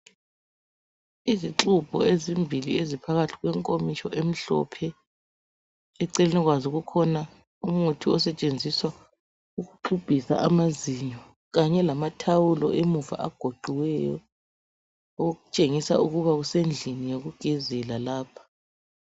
Izixubho ezimbili eziphakathi kwenkomitsho emhlophe, eceleni kwazo kukhona umuthi osetshenziswa ukuxubhisa amazinyo kanye lamathawulo emuva agoqiweyo okutshengisa ukuba kusendlini yokugezela lapha.